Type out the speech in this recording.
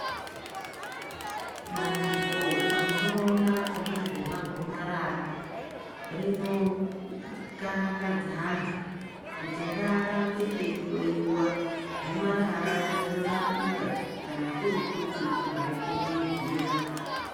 Bandiko rinoona ngezvemagomarara rinokarakadza antu kuti ngaarambe eihloiwa gomarara rinorapika kana kuri kuti mwari kurumidzira.